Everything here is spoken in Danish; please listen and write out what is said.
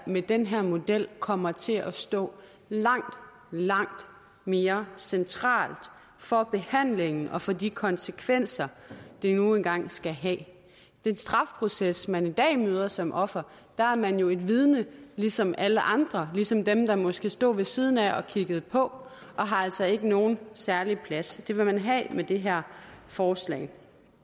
med den her model kommer til at stå langt langt mere centralt for behandlingen og for de konsekvenser det nu engang skal have i den strafproces man i dag møder som offer er man jo et vidne ligesom alle andre ligesom dem der måske stod ved siden af og kiggede på og har altså ikke nogen særlig plads det vil man have med det her forslag